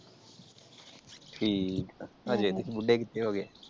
ਠੀਕ ਆ, ਹਜੇ ਤੁਹੀ ਬੁੱਢੇ ਕਿਥੇ ਹੋਗੇ?